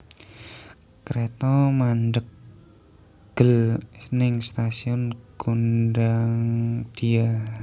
Kreto mandheg gel ning stasiun Gondangdia